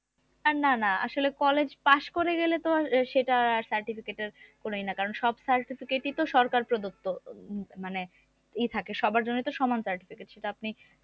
না না আসলে কলেজ পাশ করে গেলে তো আর সেটার certificate এর কোন ই না কারণ কি সব certificate ই তো সরকার প্রদত্ত মানে ই থাকে সবার জন্যই তো সমান certificate সেটা আপনি